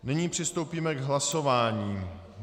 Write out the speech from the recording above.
Nyní přistoupíme k hlasování.